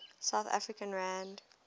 south african rand